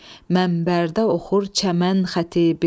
mənbərdə oxur çəmən xətibi.